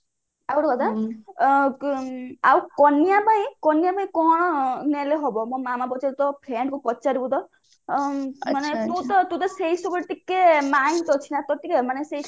ଆଉ ଗୋଟେ କଥା ଆଉ କନିଆ ପାଇଁ କନିଆ ପାଇଁ କଣ ନେଲେ ହବ ମୋ ମାମା ପଚାରୁଥିଲେ ତୋ friend କୁ ପଚାରିବୁ ତ